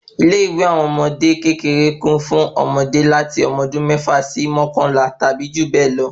Ilé ìwé àwọn ọmọdé kékeré kún fún ọmọde láti ọmọ ọdún mẹ́fà sí mọkanla tàbí jù bẹ lọ